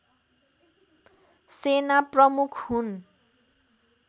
सेना प्रमुख हुन्